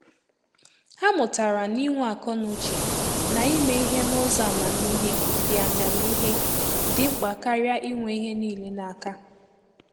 Ha mụtara ná inwe akọnuche ná ime ìhè n’ụzọ amamihe dị amamihe dị mkpa karịa inwe ìhè niile n’aka.